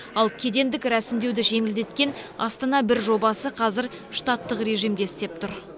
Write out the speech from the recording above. ал кедендік рәсімдеуді жеңілдеткен астана бір жобасы қазір штаттық режимде істеп тұр